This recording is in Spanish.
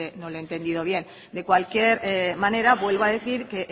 no le he entendido bien de cualquier manera vuelvo a decir que